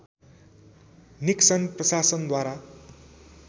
Nixon प्रशासनद्वारा